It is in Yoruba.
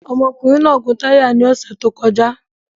Ọmọkùnrin náà gún táyà náà ní ọ̀sẹ̀ tó kọjá